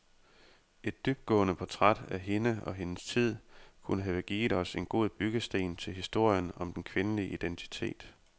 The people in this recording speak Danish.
Et dybtgående portræt af hende og hendes tid kunne have givet os en god byggesten til historien om den kvindelige identitet.